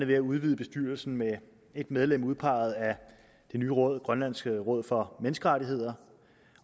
ved at udvide bestyrelsen med et medlem udpeget af det nye råd grønlands råd for menneskerettigheder